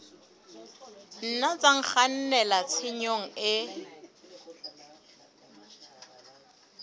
nna tsa kgannela tshenyong e